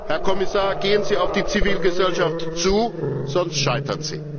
Herr Kommissar, gehen Sie auf die Zivilgesellschaft zu, sonst scheitern Sie!